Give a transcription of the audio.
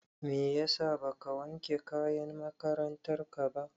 Meyasa baka wanke kayan makarantar ka ba?